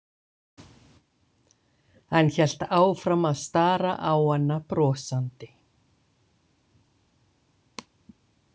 Hann hélt áfram að stara á hana brosandi.